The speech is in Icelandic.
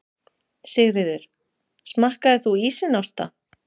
Sigríður: Smakkaðir þú ísinn, Ásta?